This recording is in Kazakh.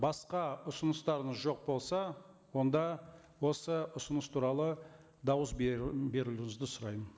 басқа ұсыныстарыңыз жоқ болса онда осы ұсыныс туралы дауыс беру берулеріңізді сұраймын